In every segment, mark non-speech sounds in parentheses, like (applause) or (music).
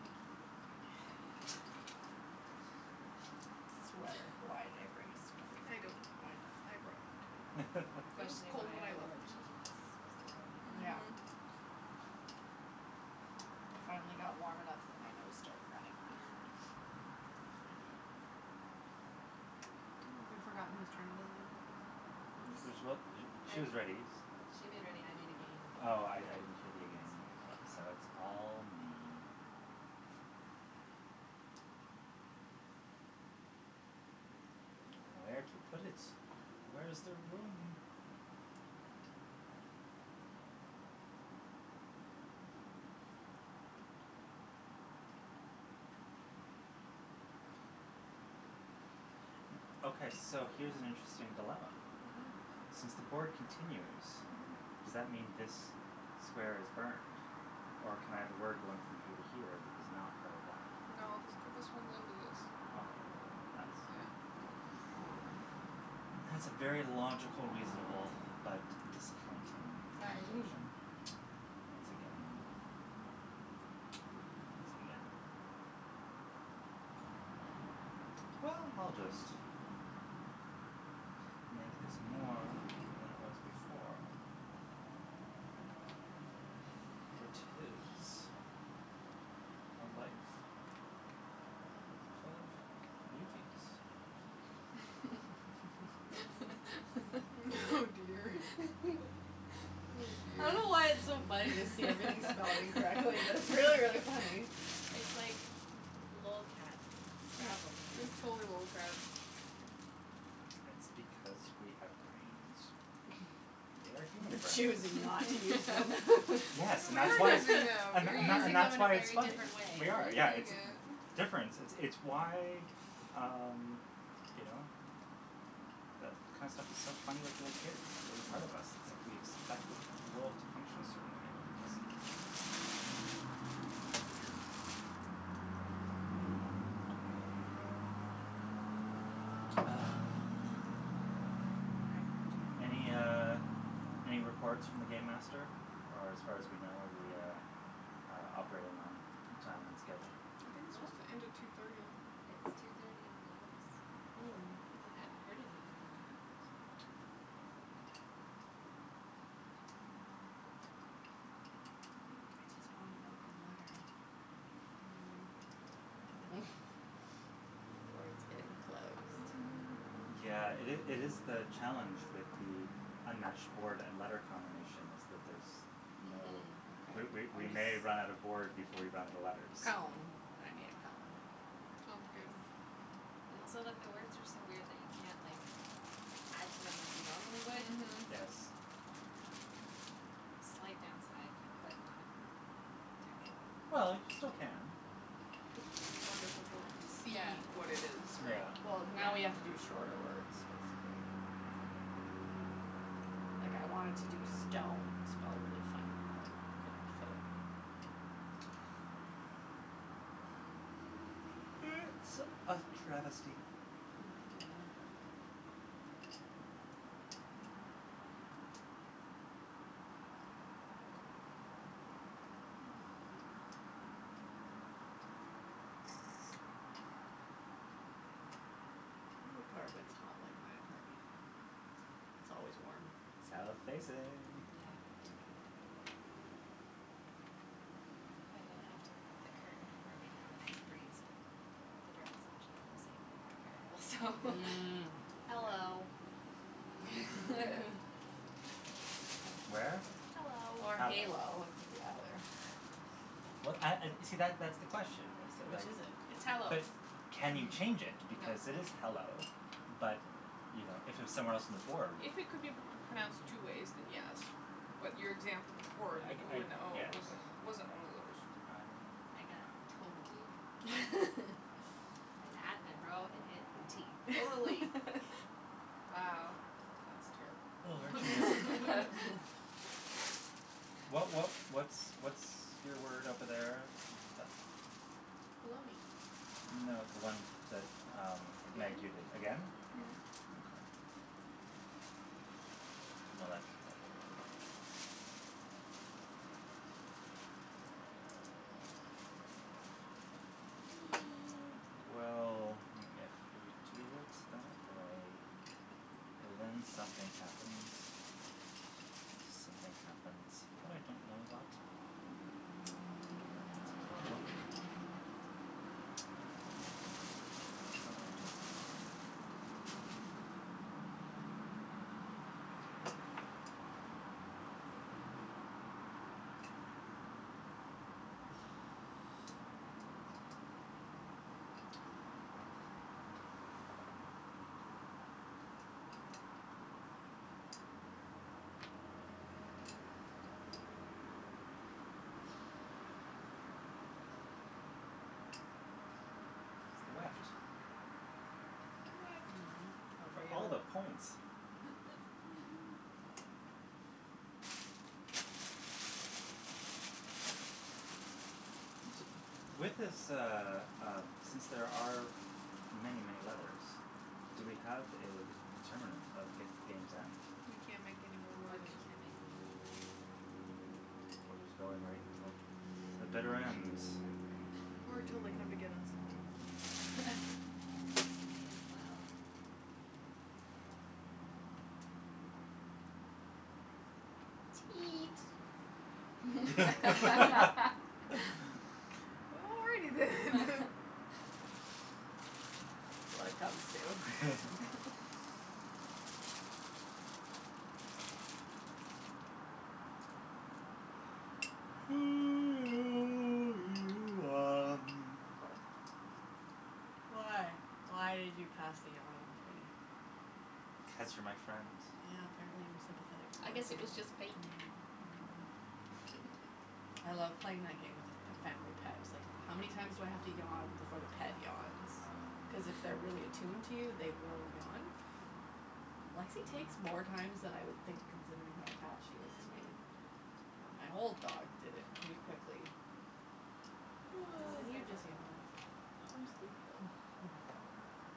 Thank you. Sweater. Why (laughs) did I bring a sweater? I don't know. I brought one, too. I'm It was questioning cold why when I (laughs) I left wore my house. jeans, so Yeah. Mhm. I finally got warm enough that my nose started running. Mm. (noise) Have we forgotten whose turn it is again? This is what (inaudible) I she is ready. She made ready, I made again. Oh, I I didn't hear the It's again, there I so go. it's all me. Where to put it. Where's there room? (noise) Okay, so here's an interesting dilemma. Mhm. Mhm. Since the board continues, Mhm. does that mean this square is burned, or can I have a word going from here to here that is not part of that? No, this could this runs into this. Okay, th- that's Yeah. That's a very logical, reasonable but disappointing conclusion (inaudible) (laughs) (noise) once again. (noise) Once again. (noise) Well, I'll just make this more than it was before. For it is a life full of beauties. (laughs) (laughs) Oh dear. Oh, (laughs) I dear. don't know why it's so funny to see everything spelled incorrectly, but it's really, really funny. (laughs) (laughs) It's like lolcats Scrabble game. It was totally lolcats. It's because we have brains. And they are (laughs) human We're brains. choosing not to use them. Yes, and We that's are why it's using (laughs) (laughs) them, and we th- We're and th- are. and using them that's in a why it's very funny. different We way. We're are, yeah, using it's it. difference. It's why, um, you know, that kind of stuff is so funny with little kids, a part of us, it's like we expect the world to function a certain way when it doesn't. Weird. Ah. I have a really Any, good one. uh, any reports from the game master, or as far as we know are we, uh, operating on time and schedule? I think it's Well, supposed to end at two thirty. it's two thirty on the nose. Okay. I haven't Hmm. heard anything from him. Hmm. I just want an open letter. (noise) Or it's getting close to Mhm. Yeah, it is it is the challenge with the unmatched board and letter combination is that there's no Mhm. We Okay, we we I'll may run out of just board before we run out of letters. Column. I made a column. Sounds good. And also that the words are so weird that you can't, like, add to them like you normally would. Mhm. Yes. Slight downside but not terrible. Well, you still can. Just more difficult to see Yeah. what it is, yeah. Yeah. Well, now we have to do Yeah. shorter words, basically. Like, I wanted to do stone spelled really funny, but it couldn't all fit. It's a travesty. (noise) (noise) Your apartment's hot like my apartment. It's always warm. South facing. Yeah. Yeah. If I didn't have to put the curtain over, we'd have a nice breeze, but the direct sunshine is even more unbearable, so Mm. Mm. Hello. (laughs) (laughs) Where? Hello. Or Hello. halo, it could be either. Well, and and see, that that's the question is that, Which like is it? It's hello. But can you change it No. because it is hello, but, you know, if it was somewhere else on the board If it could be p- pronounced two ways, then yes. But your example before, the I g- ooh I and the oh, guess. wasn't wasn't one of those. I I got totally. (laughs) And at and row and it and tee. (inaudible) (laughs) Wow, that's terrible. (laughs) (noise) (laughs) What what what's what's your word over there that Baloney. No, the one that, um, Meg, you did, Again? again? Yeah. Mhm. Okay. Well, that doesn't help me. (noise) Well, if we do it that way, then something happens. Something happens, but I don't know what. Mhm. It's a problem. But I don't know. It's the weft. Weft. Mm. Oh, For for all of real? the points. Mhm. Mhm. (laughs) T- with this, uh, um, since there are many, many letters, do we have a d- determinant of g- game's end? We can't make anymore When words. we can't make anymore words. We're just going right until the bitter ends? (laughs) Or till they come to get us. (laughs) May as well. Teat (laughs) (laughs) (laughs) (laughs) Already then. (laughs) When it comes to (laughs) (laughs) (noise) (noise) Why? Why did you pass the yawn onto me? Cuz you're my friend. Yeah, apparently I'm sympathetic I towards guess it you. was just fake. Mm. Mm. (laughs) I love playing my game with a f- family pet. Like, how many times do I have to yawn before the pet yawns? Cuz Oh. if they're really attuned to you, they will yawn. Hmm. Lexie takes more times than I would think considering how attached she is to me. Mhm. But Hmm. my old dog did it really quickly. And Oh. This is then the you just normal yawned. I'm way. sleepy, though.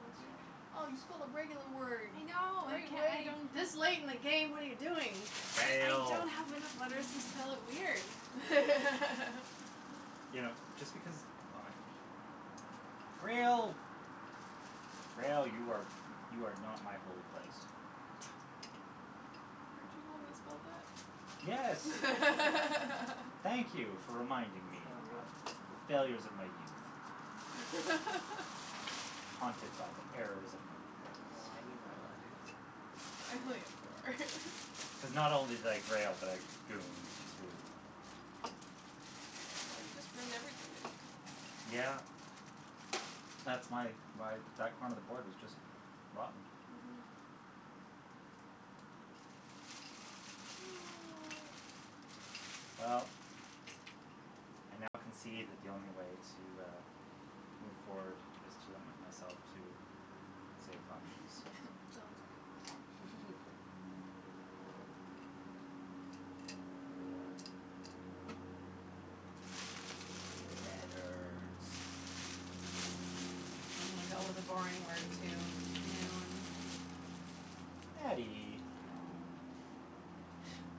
Ratio. Oh, you spelled a regular word. I know, I can- I (inaudible) don't have This late in the game? What are you doing? I Fail. don't have enough letters to spell it weird. (laughs) You know, just because, oh like Grail. Grail. You are you are not my holy place. (laughs) Weren't you the one Boat. that spelled that? Yes. Thank (laughs) you for reminding me Sorry. of the failures of my youth. (laughs) Haunted by the errors of my Oh, past. I need more letters. I only have four. (laughs) Cuz not only did I grail, but I gooned, too. Oh, you just ruined everything, didn't you? Yeah. That's my why that corner of the board is just rotten. Mhm. (noise) Well, I now concede that the only way to, uh, move forward is to limit myself to safe options. Sounds good. (laughs) (laughs) Letters. I'm gonna go with a boring word, too. (inaudible) I Nattie. know.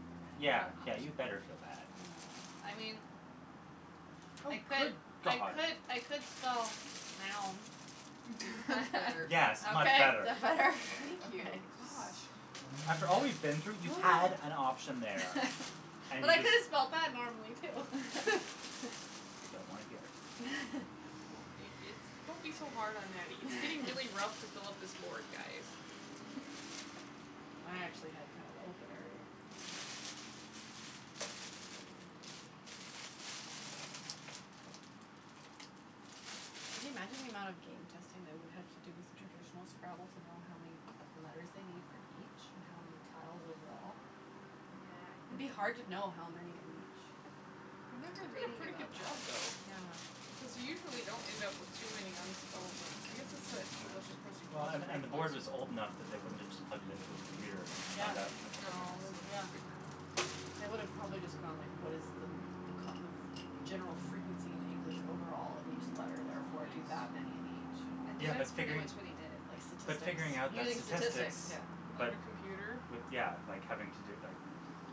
We're running out Yeah, of yeah, options. you better feel bad. I mean, Oh, I could good I god. could I could spell now. (laughs) That's better. Yes, much Okay? better. That better? Thank you. Okay. (laughs) Gosh. After all we've been (laughs) through, you had an (noise) option there and But you I could just have spelled that (laughs) normally, too. I don't wanna hear (laughs) it. (laughs) Oh, it it's (laughs) don't be so hard on Nattie. It's getting really rough to fill up this board, guys. (laughs) (noise) I actually had kind of the opener there, I think. Can you imagine the amount of game (noise) testing they would have to do with traditional Scrabble to know how many letters they need for each and how many tiles overall? Yeah, I It'd think be hard to know how many of each. I remember They did a reading pretty good about job, that. though, Yeah. because you usually don't end up with too many unspellable I guess it's that Yeah, English well, and and the board was old enough (inaudible) that they wouldn't have just plugged it into a computer and Yeah. found out in a couple of No, minutes. they would have Yeah. figured it out. They would have probably just gone, like, what is the kind of general frequency in English overall of each Mm, letter, therefore, do somebody's that many in I each. think Yeah, but that's pretty figuring much what he Like did. But statistics. figuring out that Using statistics, statistics yeah. Without but a computer? With, yeah, like, having to do, like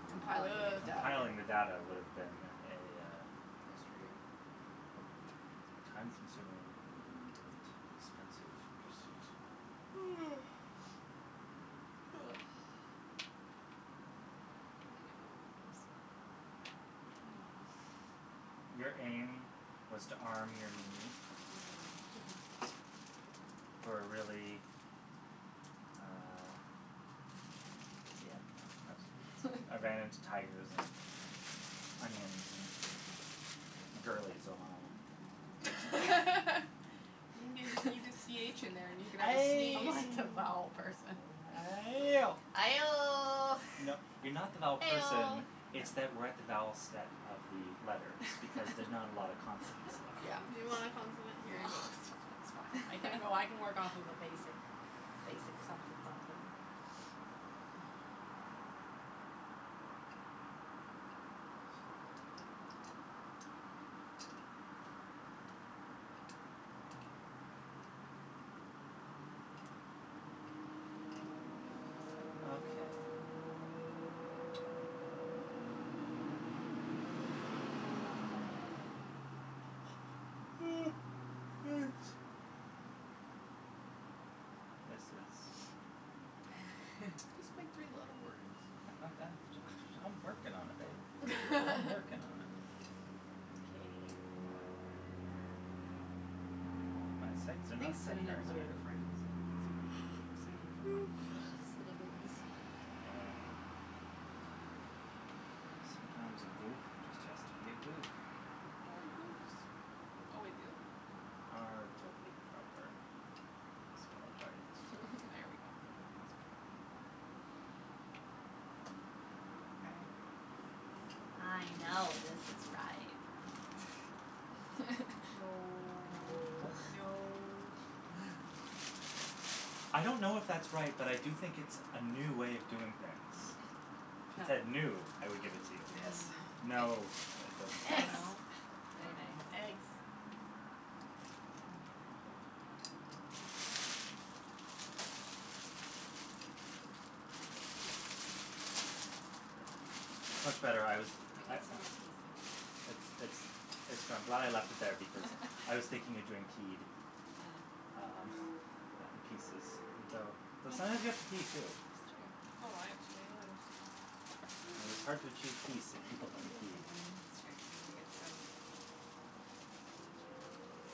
Compiling Ugh. the Compiling the data. data would have been a Frustrating. time consuming and Mhm. expensive pursuit. (noise) (noise) I know (inaudible) spelled normally, but aim. Your aim was to arm your knee Mhm. for a really, uh, yeah, no, I was I ran into (laughs) tigers and onions and girlies, oh my. (laughs) You n- (laughs) you need a c h in there and you can have a Ay! I'm sneeze. like the (laughs) vowel person. Ayo! Aioh. (laughs) You know, you're not the vowel person, Eoh. it's that we're at the vowel set of the letters because there's not a lot of consonants (laughs) left Yeah. You because (laughs) want a consonant? Here you go. (laughs) That's fine. I can go, I can work off a basic (laughs) basic something something. Okay. (noise) This is Just (laughs) make three letter words. I I I'm ju- I"m working on it, babe. I'm working on it. (laughs) K. My my sights are I not think set very synonyms are high. your friends. Synonyms are my friends. (noise) Synonyms. You know, sometimes a goof just has to be a goof. More goofs. Oh (inaudible) R to be proper. I'll spell it right this time. There we (laughs) go. That's better. Okay. I know this is right. (laughs) No. That No. No. (laughs) I don't know if that's right, but I do think it's a new way of doing things. (laughs) If it said new, I would give Mm. it to you. Yes. No, it doesn't fly Eggs. No? (laughs) But Very uh nice. (inaudible) Eggs. Ah, piece. Yeah, We it's need much better. I was we I need I some more pieces than It's this. it's it's I'm glad I left it there because I was thinking of doing (laughs) peed, Ah. um, and pieces. Though though sometimes you That have to pee too. It's true. Oh, I have too many letters. It is hard to achieve peace if people haven't peed. (noise) (laughs) (inaudible)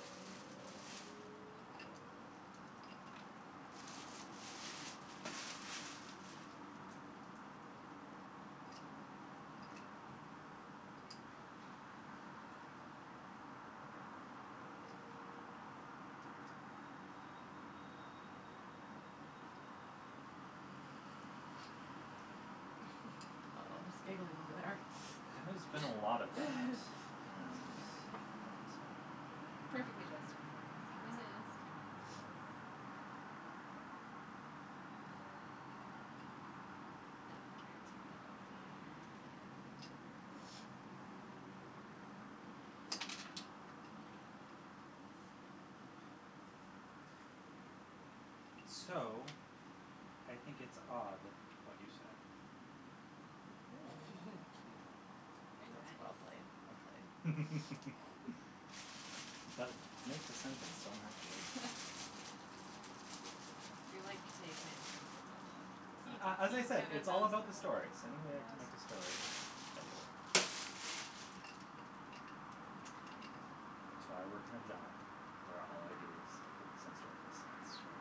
(laughs) Oh, there's giggling over there. There has been a lot of that and (laughs) (laughs) it, uh Perfectly justified in this case. Mhm. It's kinda ridiculous. Yeah. Not guaranteed I'll be able to play it, but So, I think it's odd what you said. Mhm. (laughs) Cute. Mm. Very nice. That's well played, well played. (laughs) But it makes a sentence, so I'm happy. (laughs) You're like taking it to another level, the He he A a as I said, kind of it's sentences. all does that, about the stories. Any way I can make a yes. story, I do it. It's why I work in a job where all I do is focus on stories. That's true.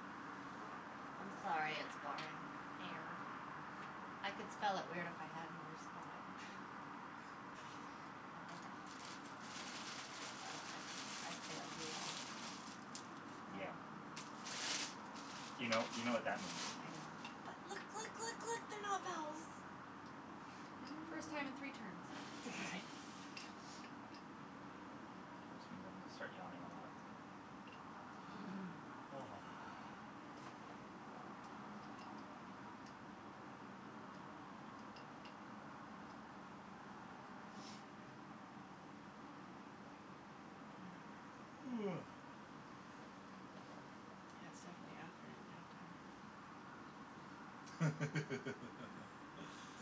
I'm sorry it's boring. Air. I could spell (laughs) it weird if I had another spot. But I don't, so I I've failed you all. Yeah. You know, you know what that means. I know. But look, look, look, look, they're not vowels. First time in three turns. Mm. Nice. Which means I'm gonna start yawning a lot. (laughs) (noise) (noise) Yeah, it's definitely afternoon nap time.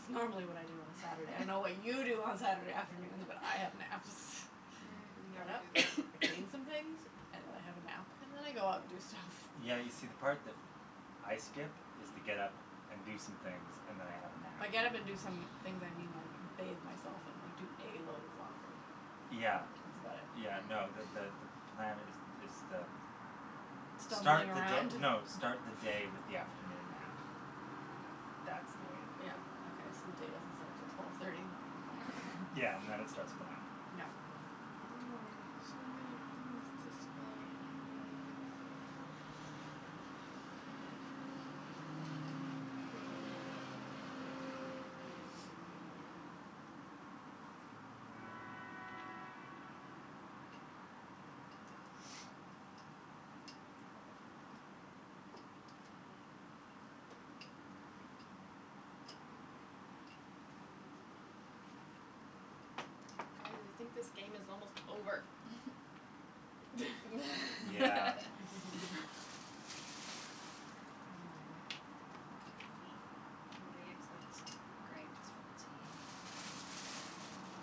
It's normally what I do on a Saturday. I don't know what you do (laughs) on Saturday afternoons, but have naps. (laughs) Mm, I get never up, Mm. do that. I clean some things (noise) and I have a nap and then I go out and do stuff. Yeah, you Nice. see, the part that I skip is the get up and do some things and then I have a nap. By get up and do some things, I mean, like, bathe myself and like do a load of laundry, Yeah. that's about it. Yeah, no, the Hmm. the the plan is is the start Stumbling the around? d- no, start the day with the afternoon nap. That's the way to do Yeah, it. okay, so the day doesn't start until twelve thirty? All Yeah, and then it right. (laughs) starts with a nap. (laughs) Yeah. Mm. So many things to spell and none of them make sense. Mm. (noise) (noise) (noise) (noise) Guys, I think this game is almost over. (noise) (laughs) Yeah. (laughs) (laughs) (laughs) Will we accept (inaudible) with a t?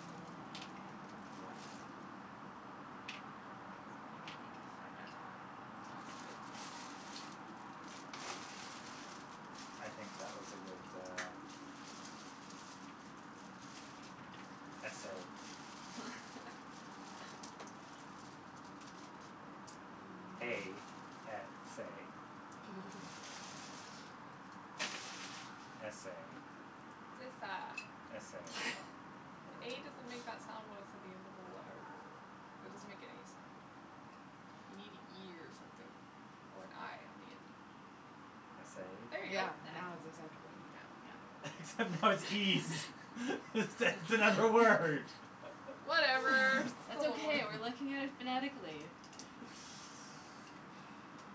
Mhm. Okay. Yeah. Cuz I'm (inaudible) Sounds good. I think that was a good, uh, essay. (laughs) A s a. S a. It's esa. S a. (laughs) A doesn't make that sound when it's at the end of a letter. That doesn't make any sound. You need an e or something or an i on the end. S Yeah. There you a? go. Yeah, That. now it's acceptable. Yeah. Except now it's ees. It's it's another word. Whatever, Whatever, (laughs) (laughs) it's That's still still okay, we're a word. looking at it phonetically. (noise)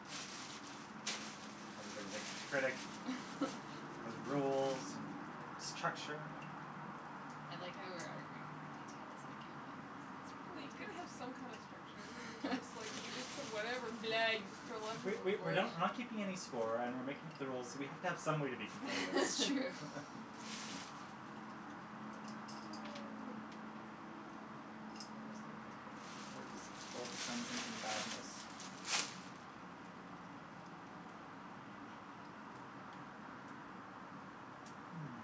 Everybody's a critic. Has (laughs) rules and structure and I like how we're arguing over details in a game like this. It's Well, you pretty gotta have some kind of structure, or it's fantastic. just like you just put (laughs) whatever (laughs) blah, you just throw (noise) letters We on the we we're board. not we're not keeping any score and we're making up the rules, so we have to have some way to be competitive. It's true. (laughs) (laughs) (noise) What was the word that's pull (inaudible) madness? Hmm.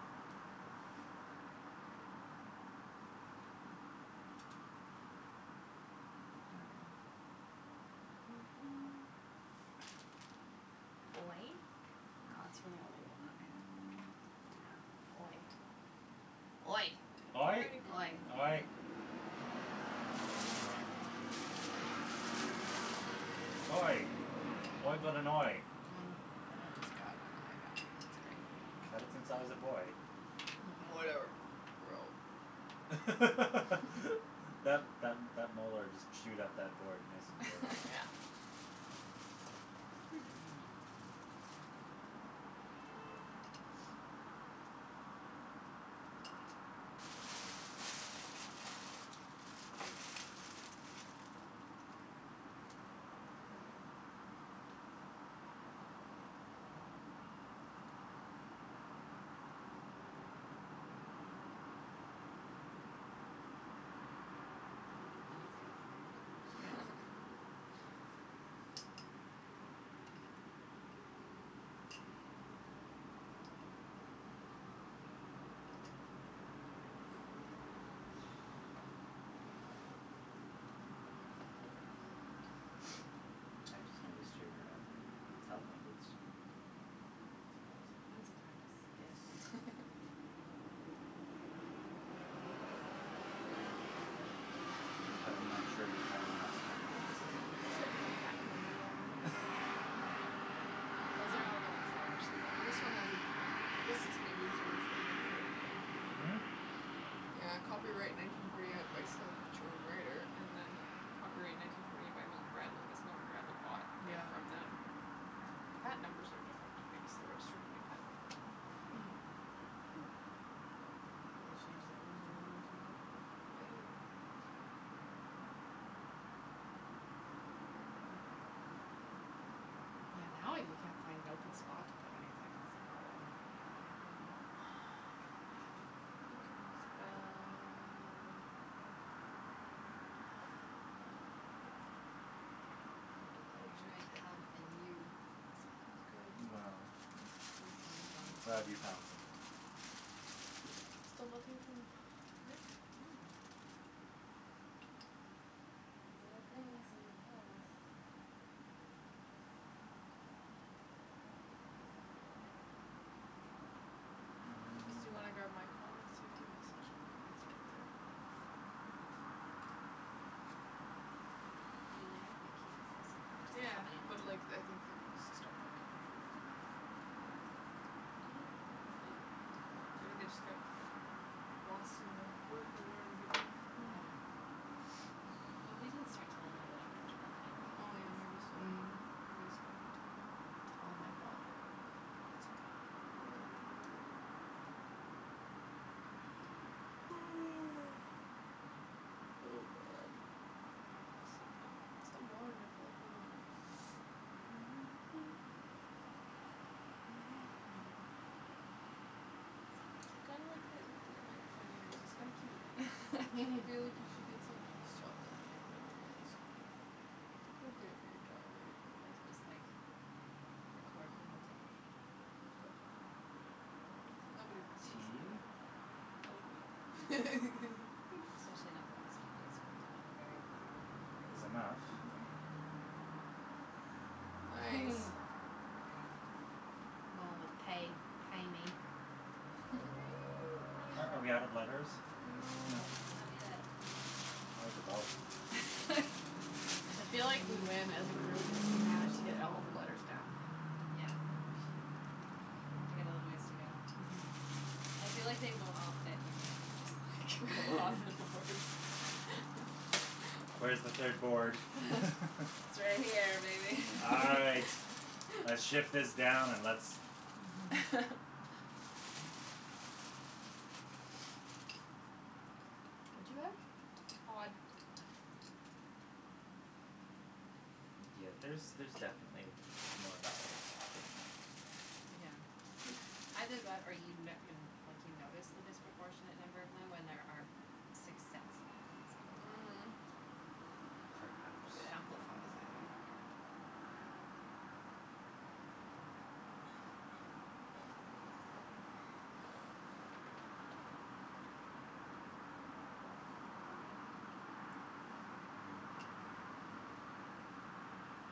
(noise) (noise) Oy? No, that's really only a y. Yeah. Oy. Oy. Oy. Oy. Oy. Mm. Oy. Oy. Oy got an oy. Um then I just got an i back. Great. Had it since I was a boy. (laughs) Whatever. Row. (laughs) That (laughs) that that molar just chewed up that board nice and good. Yeah. (laughs) Hmm. (noise) Now it's Yeah. getting hard. (laughs) Hmm. (noise) I just noticed your, uh, telephone booths. Back. They're awesome. One's a Yes. tardis. (laughs) But I'm not sure you have enough camera lenses on that These shelf. have different patent numbers on there. (laughs) Those are Oh. all the ones that actually work. This one has a different I guess this maybe is the original maker. Hmm? Yeah, copyright nineteen forty eight by Selchow and Righter and then copyright nineteen forty eight by Milton Bradley. I guess Milton Bradley bought it Yeah. from them. But the patent numbers are different. I guess they registered a new patent. Hmm. Maybe they changed the rules a little or something. Maybe. Yeah, now you can't find an open spot to put anything, it's a problem. Mhm. You can spell, uh I don't know Okay. I'm what you gonna make could spell. hug and you. Sounds good. Well, At least one of them I'm is glad you wrong. found something. Still nothing from Rick? No. There's no blings and no calls. Just do you want to grab my phone Mm. and see if he messaged me? It's right there. I mean, they have my keys. I assume they would just Yeah, come in but and like, I think they want us to stop talking before (inaudible) Maybe they just got lost in their work or whatever they do. Hmm. Yeah. (noise) Well, we didn't start till a little bit after twelve Oh, anyway, yeah, right? maybe, so Mm. maybe it's not enough time (noise) yet. It's all my fault. (noise) (noise) Oh, man (inaudible) So warm and full of food. (laughs) (noise) I kinda like the the microphone earrings. It's kinda cute. I feel like you should get (laughs) (laughs) some and just chop them and make them into earrings. It's appropriate for your job, right? They can just, like, record my whole day. Don't do that. Nobody wants to see Tea. that, No. not even you. Especially not (laughs) the last few days when I've been in a very loud Is room enough. all Mhm. day. Nice. Hmm. Very good. Going with tae, tae me. (laughs) Are are we out of letters? No. No? No. Not yet. Like about (laughs) I feel like (laughs) we win as a group if we manage to get all of the letters down. Yeah. We got a little ways to go. Mhm. I feel like they won't all fit in the end, just like go off the boards. (laughs) (laughs) Where's the third board? (laughs) (laughs) It's right here, baby. All right, (laughs) let's shift (laughs) this down and let's (laughs) What do you have? Odd. Odd. Oh. Yeah, there's there's definitely m- more vowels hidden. Yeah. Either that, or you n- you n- like, you notice the disproportionate number of them when there are six sets of e's in there. Mhm. Perhaps. It amplifies it, yeah. Yeah. (noise)